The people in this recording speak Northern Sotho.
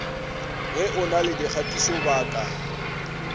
ge o na le dikgatišobaka